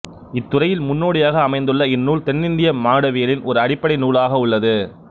இத்துறையில் முன்னோடியாக அமைந்துள்ள இந்நூல் தென்னிந்திய மானிடவியலின் ஒரு அடிப்படை நூலாக உள்ளது